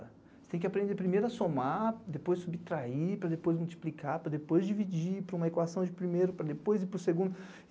Você tem que aprender primeiro a somar, depois subtrair, para depois multiplicar, para depois dividir, para uma equação de primeiro, para depois ir para o segundo.